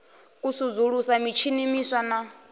u sudzulusa mitshini miswa na